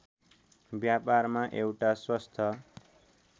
व्यापारमा एउटा स्वस्थ